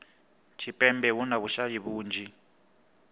tshipembe hu na vhushayi vhunzhi